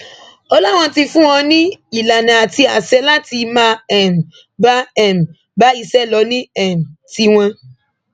ó láwọn ti fún wọn ní ìlànà àti àṣẹ láti máa um bá um bá iṣẹ lọ ní um tiwọn